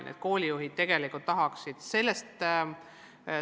Nii et koolijuhid tegelikult tahaksid reguleerimist.